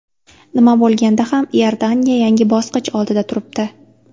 Nima bo‘lganda ham Iordaniya yangi bosqich oldida turibdi.